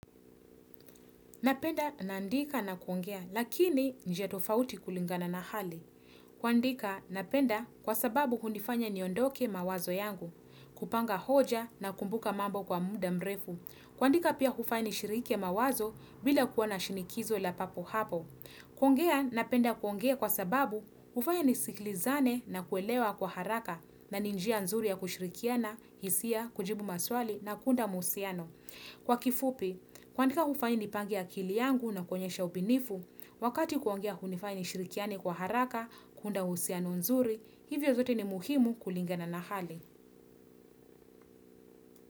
Napenda naandika na kuongea lakini njia tofauti kulingana na hali. Kuandika napenda kwa sababu hunifanya niondoke mawazo yangu, kupanga hoja nakumbuka mambo kwa muda mrefu. Kuandika pia hufanya nishirike mawazo bila kuwa na shinikizo la papo hapo. Kuongea napenda kuongea kwa sababu hufanya niskilizane nakuelewa kwa haraka na ni njia nzuri ya kushirikiana, hisia, kujibu maswali na kuunda muhusiano. Kwa kifupi, kuandika hufanya nipange akili yangu nakuonyesha ubunifu, wakati kuongea hunifanya nishirikiane kwa haraka, kuunda uhusiano nzuri, hivyo zote ni muhimu kulingana na hali.